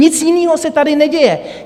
Nic jiného se tady neděje.